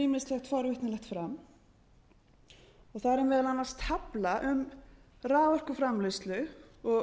ýmislegt forvitnilegt fram þar er meðal annars tafla um raforkuframleiðslu og